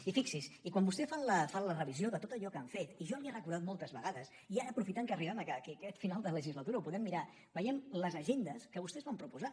i fixi’s i quan vostès fan la revisió de tot allò que han fet i jo li ho he recordat moltes vegades i ara aprofitant que arribem a aquest final de legislatura ho podem mirar veiem les agendes que vostès van proposar